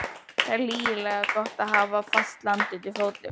Það er lygilega gott að hafa fast land undir fótum.